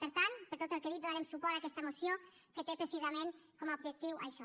per tant per tot el que he dit donarem suport a aquesta moció que té precisament com a objectiu això